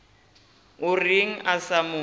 o reng a sa mo